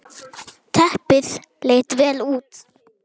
Teppið leit vel út.